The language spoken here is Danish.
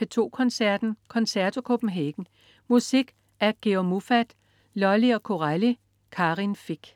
P2 Koncerten. Concerto Copenhagen. Musik af Georg Muffat, Lully og Corelli. Karin Fich